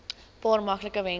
paar maklike wenke